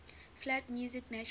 flat music natural